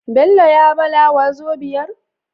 Bello ya bala wazobiar?